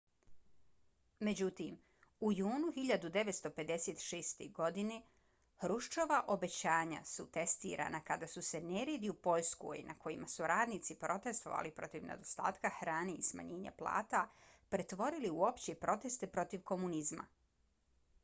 međutim u junu 1956. godinu hruščova obećanja su testirana kada su se neredi u poljskoj na kojima su radnici protestovali protiv nedostatka hrane i smanjenja plata pretvorili u opće proteste protiv komunizma